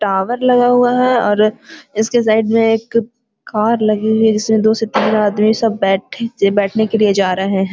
Tower लगा हुआ है और इसके साइड में एक कार लगी हुई है जिसमें दो से तीन आदमी सब बैठ बैठने के लिए जा रहे हैं।